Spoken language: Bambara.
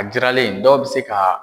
A jiralen dɔw bɛ se ka